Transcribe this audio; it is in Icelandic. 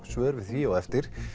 svör við því á eftir